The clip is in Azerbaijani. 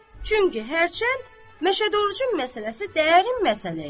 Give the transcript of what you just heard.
Çünki hərçənd Məşəd Orucun məsələsi dərin məsələ idi.